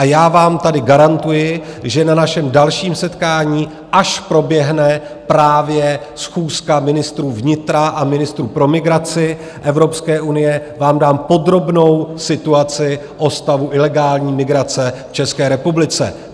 A já vám tady garantuji, že na našem dalším setkání, až proběhne právě schůzka ministrů vnitra a ministrů pro migraci Evropské unie, vám dám podrobnou situaci o stavu ilegální migrace v České republice.